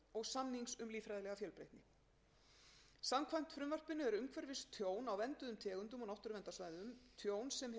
samnings um líffræðilega fjölbreytni samkvæmt frumvarpinu er umhverfistjón á vernduðum tegundum og náttúruverndarsvæðum tjón sem hefur veruleg skaðleg